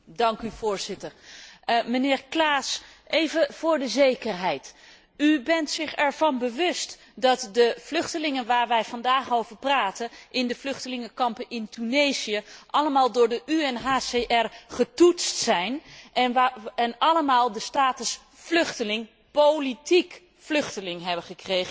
Voorzitter, mijnheer Claeys, even voor de zekerheid bent u zich ervan bewust dat de vluchtelingen waar wij vandaag over praten in de vluchtelingenkampen in Tunesië allemaal door de UNHCR getoetst zijn en allemaal de status van politiek vluchteling hebben gekregen?